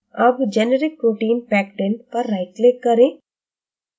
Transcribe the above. अब generic protein pectin पर right click करें